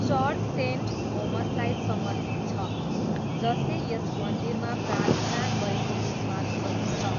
Church saint थोमसलाई समर्पित छ, जसले यस मन्दिरमा प्रार्थना गरेको विश्वास गरिन्छ।